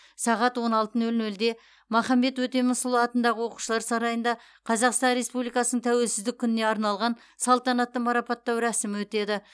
сағат он алты нөл нөлде махамбет өтемісұлы атындағы оқушылар сарайында қазақстан республикасының тәуелсіздік күніне арналған салтанатты марапаттау рәсімі өтеді